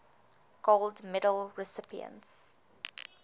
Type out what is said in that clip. gold medal recipients